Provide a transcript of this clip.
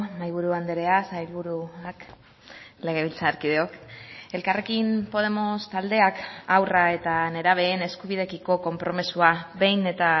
mahaiburu andrea sailburuak legebiltzarkideok elkarrekin podemos taldeak haurra eta nerabeen eskubideekiko konpromisoa behin eta